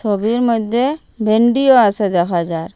ছবির মইদ্যে ভিন্ডিও আসে দেখা যার।